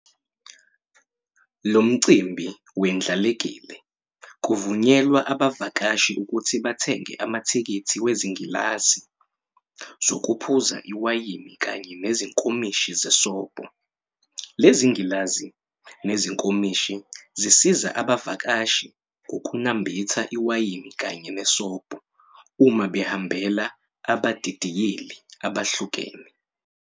Lomcimbi wendlalekile, kuvunyelwa abavakashi ukuthi bathenge amathikithi wezingilazi zokuphuza iwayini kanye nezinkomishi zesobho, lezingilazi nezinkomishi zisiza abavakashi ngokunambitha iwayini kanye nesobho uma behambela abadidiyeli abehlukene.